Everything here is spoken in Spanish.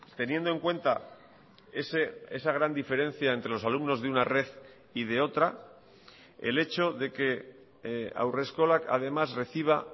teniendo en cuenta esa gran diferencia entre los alumnos de una red y de otra el hecho de que haurreskolak además reciba